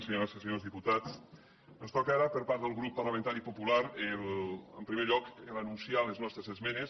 senyores i senyors diputats ens toca ara per part del grup parlamentari popular en primer lloc anunciar les nostres esmenes